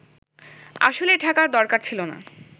আসলে ডাকার দরকার ছিল না